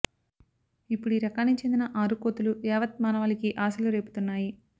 ఇప్పుడీ రకానికి చెందిన ఆరు కోతులు యావత్ మానవాళికి ఆశలు రేపుతున్నాయి